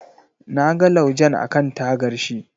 Na ga laujen akan tagar shi.